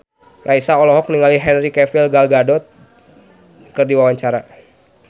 Raisa olohok ningali Henry Cavill Gal Gadot keur diwawancara